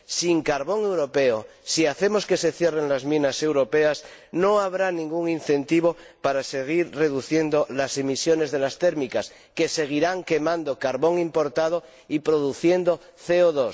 Sin carbón europeo, si hacemos que se cierren las minas europeas, no habrá ningún incentivo para seguir reduciendo las emisiones de las térmicas, que seguirán quemando carbón importado y produciendo CO